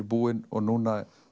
búin og núna